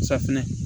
Safinɛ